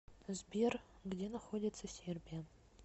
сбер где находится сербия